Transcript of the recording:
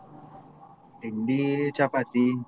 ತಿಂಡ chapati.